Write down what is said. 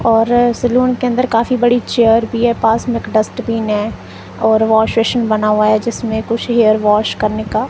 और सैलून के अंदर काफी बड़ी चेयर भी है पास मे एक डस्टबिन है और वाशबेसिन बना हुआ है जिसमे कुछ हेयर वॉश करने का--